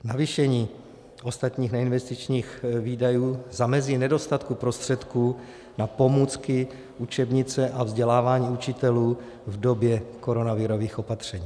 Navýšení ostatních neinvestičních výdajů zamezí nedostatku prostředků na pomůcky, učebnice a vzdělávání učitelů v době koronavirových opatření.